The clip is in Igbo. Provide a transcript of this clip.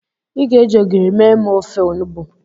I ga-eji ogiri mee m ofe onugbo.